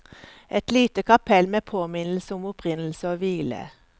Et lite kapell med påminnelse om opprinnelse og hvile.